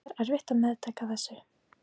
Það er erfitt að meðtaka þessu.